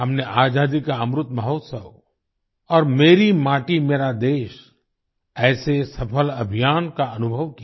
हमने आजादी का अमृत महोत्सव और मेरी माटी मेरा देश ऐसे सफल अभियान का अनुभव किया